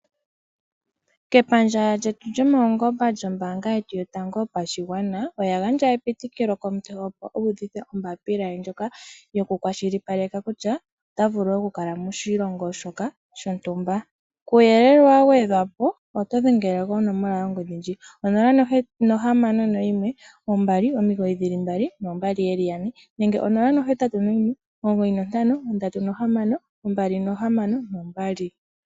Kepandja ltetu lyo paungomba kombaanga yetu yo tango yo pashigwana, oya gandja epitikilo komuntu opo uuvithe ombaapila ye ndjoka tayi kwashili paleke kutya ota vulu okukala moshilongo shoka shontumba. Kuuyelele wa gwe dhwapo dhengela konomola yongo dhi ndjika onola nohamano noyimwe ombali omigiyi dhili mbali noombali yeli ya ne nemge onola nohetatu no yimwe omugoyi nontano, ondatu no nohamano ombali nohamano no mbali.